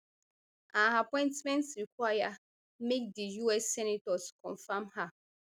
her appointment require make di us senators confam her